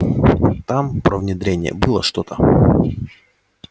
там про внедрение было что-то